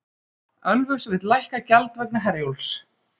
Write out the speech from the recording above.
Ölfus vill lækka gjald vegna Herjólfs